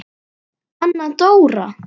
Anna Dóra!